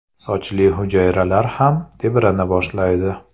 Sochli hujayralar ham tebrana boshlaydi.